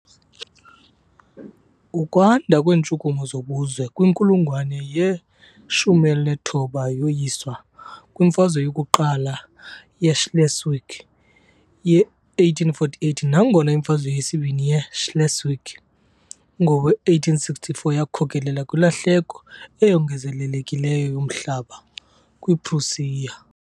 Ukwanda kweentshukumo zobuzwe kwinkulungwane ye-19 yoyiswa kwiMfazwe yokuQala yeSchleswig ye-1848, nangona iMfazwe yesiBini yeSchleswig yowe-1864 yakhokelela kwilahleko eyongezelelekileyo yomhlaba kwiPrusia .